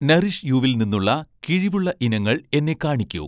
Nourish യൂ'വിൽ നിന്നുള്ള കിഴിവുള്ള ഇനങ്ങൾ എന്നെ കാണിക്കൂ